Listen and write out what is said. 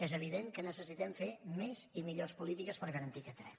és evident que necessitem fer més i millors polítiques per garantir aquest dret